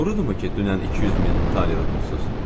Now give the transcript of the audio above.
Doğrudurmu ki, dünən 200 min taler udmusuz?